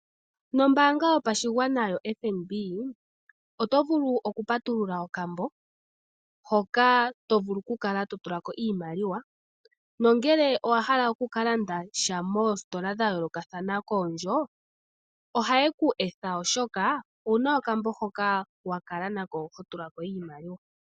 Nombaanga yashigwana yoFNB oto vulu oku patulula okambo hoka to vulu oku kala to tula ko iimaliwa, nongele owahala oku ka landa sha moositola dhayoolokathana koondjo ohaye ku etha oshoka owuna okambo hoka wakala nako ho tula ko iimaliwa.